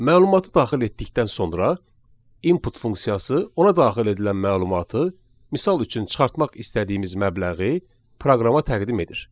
Məlumatı daxil etdikdən sonra input funksiyası ona daxil edilən məlumatı, misal üçün çıxartmaq istədiyimiz məbləği proqrama təqdim edir.